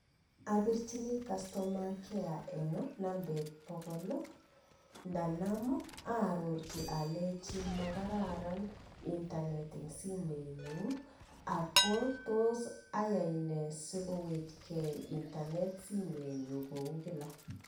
Apirjini customer care eng bokol atya aroroji aleji simet nyu kotinye kaimutiet nebo internet ako tos ayai nee sikowekei internet kou kila